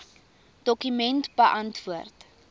dokument beantwoord